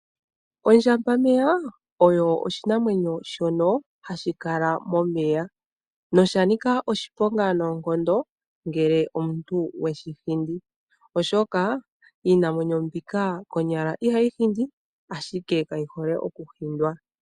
Ondjambameya osho oshinamwenyo hashi kala momeya. Oshanika oshiponga ngele shahindwa. Iinamwenyo ihaayi hindi kayi hole okuhindwa.